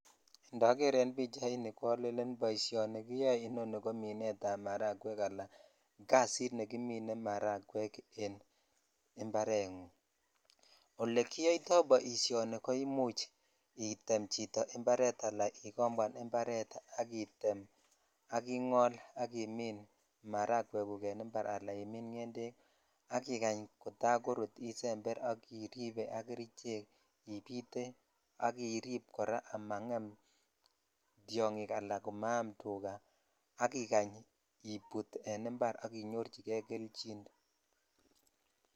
Ndoger en pichaini ko alenen boisioni kiyoe ko minetab marakwek anan kasit nekimine marakwek en imbarengung. Olekiyoito boisioni ko imuch item chito imbaret anan ikomboan imbaret ak item ak ingol ak imin marakweguk en imbar anan imin ngendek ak ikany kotaikorut isember ak iribe ak kerichek, ipite ak irip kora komangem tiongik anan komaam tuga ak ikany iput en imbar ak inyorchige kelchin.